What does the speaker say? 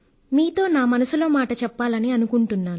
మీతో నా మనసులో మాట చెప్పాలని అనుకుంటున్నాను